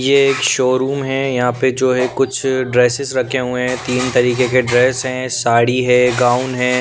ये एक शोरूम है यहाँ पे जो है कुछ ड्रेसेस रखे हुए हैं तीन तरीके के ड्रेस है साड़ी है गाउन है।